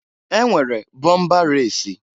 E nwere bọmba resi.